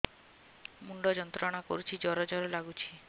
ମୁଣ୍ଡ ଯନ୍ତ୍ରଣା କରୁଛି ଜର ଜର ଲାଗୁଛି